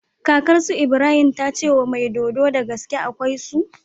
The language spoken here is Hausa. Kakar su Ibrahim tace mai dodo dagaske akwai su